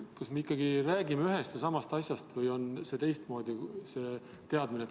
Kas me ikkagi räägime ühest ja samast asjast või on see teadmine teistmoodi?